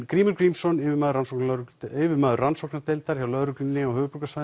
Grímur Grímsson yfirmaður rannsóknardeildar yfirmaður rannsóknardeildar hjá lögreglunni og